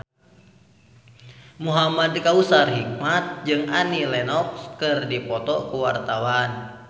Muhamad Kautsar Hikmat jeung Annie Lenox keur dipoto ku wartawan